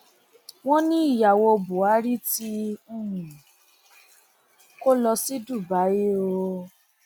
wọn ní ìyàwó buhari tí um kò lọ sí dubai o